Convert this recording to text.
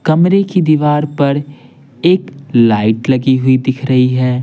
कमरे की दीवार पर एक लाइट लगी हुई दिख रही है।